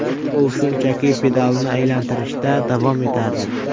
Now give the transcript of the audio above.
U shunchaki pedalni aylantirishda davom etardi.